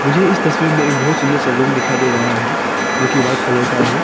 मुझे इस तस्वीर में एक बहुत सुंदर सा रूम दिखाई दे रहा है जोकि वाइट कलर का है।